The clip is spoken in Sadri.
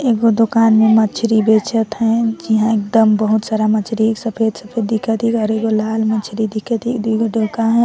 एगो दोकान में मछरी बेचत हे जेहा एकदम बहुत सारा मछली सफ़ेद -सफ़ेद दिखत हिक और एगो लाल मछरी दिखत हिक दुइ गो डोका --